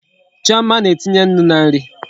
Chioma na-etinye Nnu na nri